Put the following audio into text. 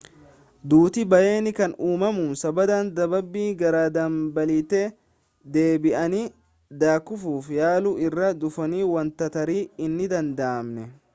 duuti baayyeen kan uumamu sababa dadhabbii gara dambaliitti deebi'anii daakuuf yaaluu irraa dhufuuni wanta tarii hin danda'amne